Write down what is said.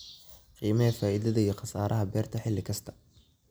Qiimee faa'iidada iyo khasaaraha beerta xilli kasta.